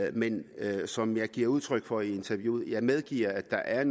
i det men som jeg giver udtryk for i interviewet medgiver jeg at